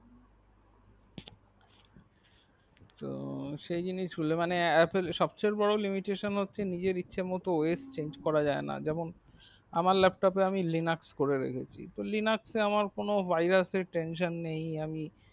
তো সেই জিনিস মানে apple সবচেয়ে বোরো limitation হচ্ছে নিজের ইচ্ছে মতো ওয়েস্ট চেঞ্জ করা যায়না যেমন আমার lap top এ আমি লিনাক্স করে রেখেছি তো লিনাক্স এ আমার কোনো vairas টেনশন নেই আমি